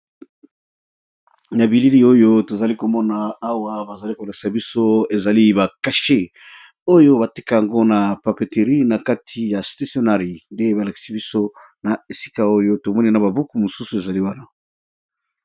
Na bilili oyo tozali komona awa bazali kolakisa biso ezali ba kashe oyo batika yango na papeterie na kati ya stationari nde balakisi biso na esika oyo tomoni na babuku mosusu ezali wana